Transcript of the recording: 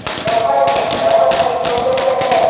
देवघर में देवघर में एक है |